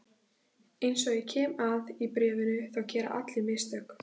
Eins og ég kem að í bréfinu þá gera allir mistök.